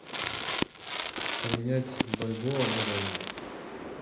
поменять бальбоа на реалы